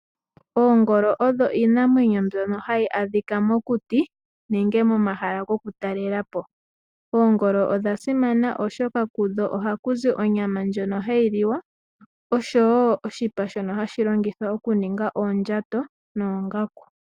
Oongolo odho iinamwenyo mbyono hayi adhika mokuti nenge momahala goku talela po. Oongolo odha simana oshoka kudho ohaku zi onyama ndjono hayi liwa, oshowo oshipa shono hashi longithwa okuninga oondjato noongaku.